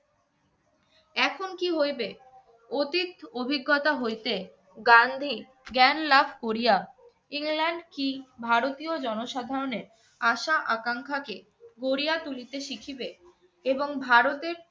এখন কী হইবে? অতীত অভিজ্ঞতা হইতে গান্ধী জ্ঞান লাভ করিয়া, ইংল্যান্ড কী ভারতীয় জনসাধারণের আশা-আকাঙ্খাকে গড়িয়া তুলিতে শিখিবে এবং ভারতের